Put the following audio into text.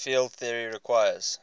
field theory requires